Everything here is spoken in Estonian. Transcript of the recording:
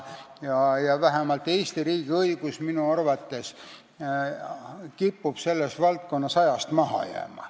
Vähemalt Eesti riigi õigus kipub minu arvates selles valdkonnas ajast maha jääma.